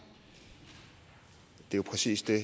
jo præcis det